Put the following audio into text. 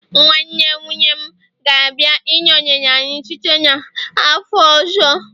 nwanne nwunye m gabia -inọnyere anyị site n'afọ ọzọ